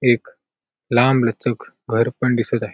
एक लामलचक घर पण दिसत आहे.